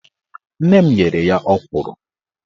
Nne m nyere ya ọkwụrụ